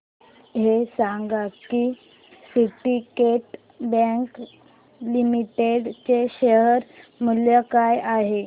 हे सांगा की सिंडीकेट बँक लिमिटेड चे शेअर मूल्य काय आहे